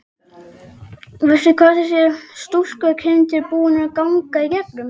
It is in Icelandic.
Veistu hvað þessi stúlkukind er búin að ganga í gegnum?